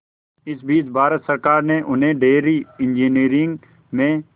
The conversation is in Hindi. इस बीच भारत सरकार ने उन्हें डेयरी इंजीनियरिंग में